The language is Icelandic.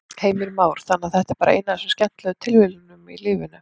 Heimir Már: Þannig að þetta er bara ein af þessum skemmtilegu tilviljunum í lífinu?